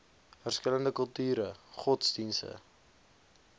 verskillende kulture godsdienste